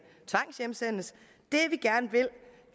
tvangshjemsendes